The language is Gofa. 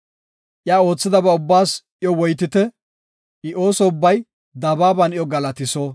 Iya oothidaba ubbaas iyo woytite; I ooso ubbay dabaaban iyo galatiso.